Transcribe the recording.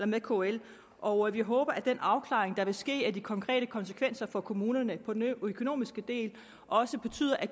med kl og vi håber at den afklaring der vil ske af de konkrete konsekvenser for kommunerne på den økonomiske del også betyder at